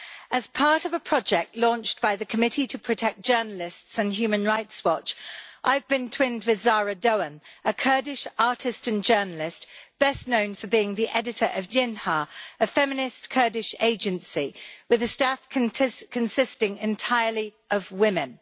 As part of a project launched by the Committee to Protect Journalists and Human Rights Watch, I have been twinned with a Kurdish artist and journalist best known for being the editor of JINHA, a feminist Kurdish agency with a staff consisting entirely of women.